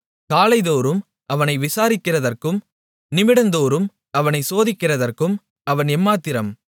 காலைதோறும் அவனை விசாரிக்கிறதற்கும் நிமிடந்தோறும் அவனைச் சோதிக்கிறதற்கும் அவன் எம்மாத்திரம்